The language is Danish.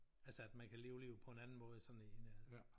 Altså at man kan leve livet på en anden måde i sådan end øh